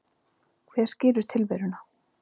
Hver skilur tilveruna?